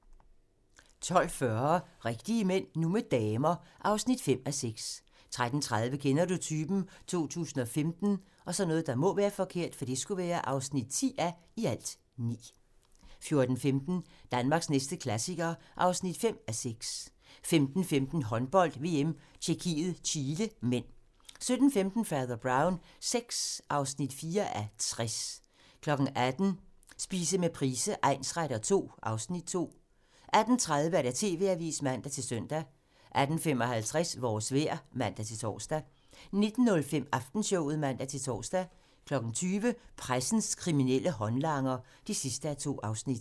12:40: Rigtige mænd - nu med damer (5:6) 13:30: Kender du typen? 2015 (10:9) 14:15: Danmarks næste klassiker (5:6) 15:15: Håndbold: VM - Tjekkiet-Chile (m) 17:15: Fader Brown VI (4:60) 18:00: Spise med Price egnsretter II (Afs. 2) 18:30: TV-avisen (man-søn) 18:55: Vores vejr (man-tor) 19:05: Aftenshowet (man-tor) 20:00: Pressens kriminelle håndlanger (2:2)